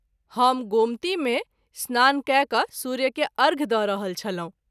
हम गोमती मे स्नान कय क’ सूर्य के अर्घ्य द’ रहल छलहुँ।